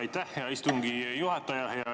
Aitäh, hea istungi juhataja!